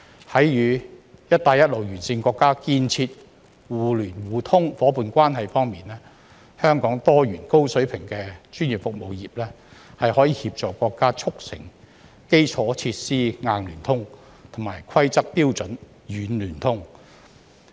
在與"一帶一路"沿線國家建設互聯互通夥伴關係方面，香港多元、高水平的專業服務業可協助國家促成基礎設施"硬聯通"及規則標準"軟聯通"。